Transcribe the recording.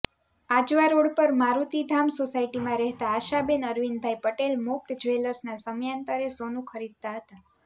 Ajwa road પર મારૂતિધામ સોસાયટીમાં રહેતાં આશાબેન અરવિંદભાઈ પટેલ મુક્ત જ્વેલર્સના સમયાંતરે સોનું ખરીદતા હતા